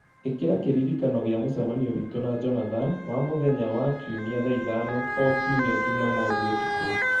ĩkira kĩririkano gĩa mũcemanio witũ na Jonathan wa mũthenya wa kiumia thaa ithano o kiumia jumamothu ũtukũ